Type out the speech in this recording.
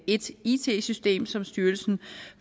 et it system som styrelsen